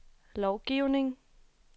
lovgivning